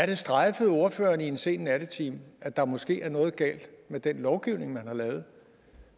det strejfet ordføreren i en sen nattetime at der måske er noget galt med den lovgivning man har lavet